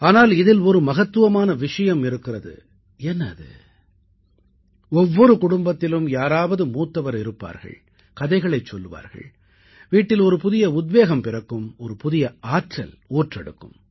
ஆனால் இதில் ஒரு மகத்துவமான விஷயமும் இருக்கிறது என்ன அது ஒவ்வொரு குடும்பத்திலும் யாராவது மூத்தவர் இருப்பார்கள் கதைகளைச் சொல்லுவார்கள் வீட்டில் ஒரு புதிய உத்வேகம் பிறக்கும் ஒரு புதிய ஆற்றல் ஊற்றெடுக்கும்